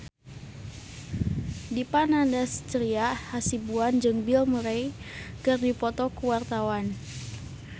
Dipa Nandastyra Hasibuan jeung Bill Murray keur dipoto ku wartawan